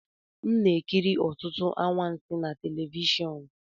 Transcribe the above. M na-ekiri ọtụtụ akụkọ anwansi na telivishọn